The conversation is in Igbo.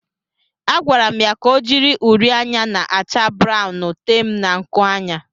A gwara m ya ka o jiri uri anya na-acha brawụn tee m na nkuanya.